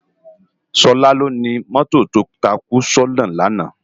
Sola lóni mòtó tó tákú si òná làná